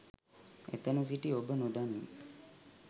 එතන සිටි ඔබ නොදනී